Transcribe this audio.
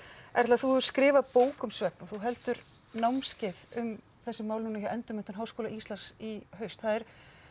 Erla þú hefur skrifað bók um svefn og þú heldur námskeið um þessi mál núna hjá Endurmenntun Háskóla Íslands í haust það er